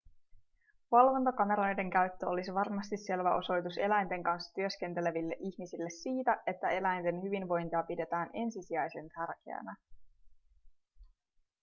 valvontakameroiden käyttö olisi varmasti selvä osoitus eläinten kanssa työskenteleville ihmisille siitä että eläinten hyvinvointia pidetään ensisijaisen tärkeänä